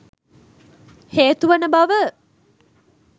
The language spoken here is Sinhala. හේතු වන බව